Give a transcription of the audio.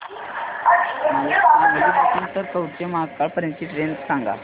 मला सांगली पासून तर कवठेमहांकाळ पर्यंत ची ट्रेन सांगा